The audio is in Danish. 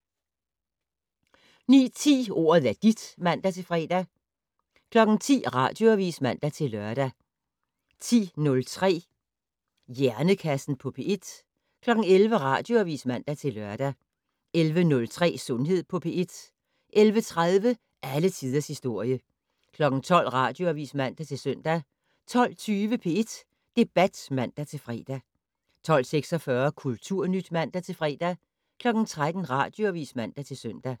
09:10: Ordet er dit (man-fre) 10:00: Radioavis (man-lør) 10:03: Hjernekassen på P1 11:00: Radioavis (man-lør) 11:03: Sundhed på P1 11:30: Alle tiders historie 12:00: Radioavis (man-søn) 12:20: P1 Debat (man-fre) 12:46: Kulturnyt (man-fre) 13:00: Radioavis (man-søn)